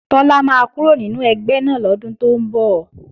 Tọ́lá máa kúrò nínú ẹgbẹ́ náà lọ́dún tó ń bọ̀